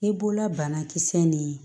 I bolola banakisɛ nin